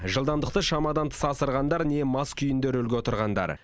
жылдамдықты шамадан тыс асырғандар не мас күйінде рөлге отырғандар